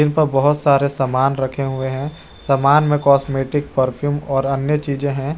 प बहुत सारे सामान रखे हुए हैं सामान में कॉस्मेटिक परफ्यूम और अन्य चीजें हैं।